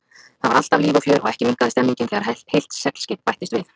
Þar var alltaf líf og fjör og ekki minnkaði stemmningin þegar heilt seglskip bættist við.